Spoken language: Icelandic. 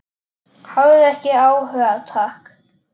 Hafði ekki áhuga, takk.